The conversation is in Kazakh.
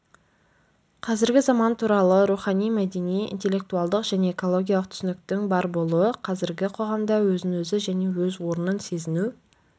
қазіргі заман туралы рухани мәдени интеллектуалдық және экологиялық түсініктің бар болуы қазіргі қоғамда өзін-өзі және өз орнын сезіну